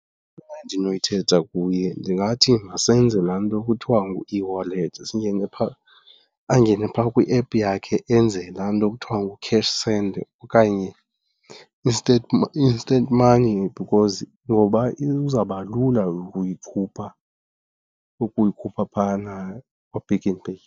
endinoyithetha kuye ndingathi masenze laa nto kuthiwa ngu-eWallet. Singene phaa, angene phaa kwiephu yakhe enze la nto kuthiwa ngu-cash send okanye i-instant money because ngoba izawuba lula ukuyikhupha, ukuyikhupha phayana kwaPick n Pay.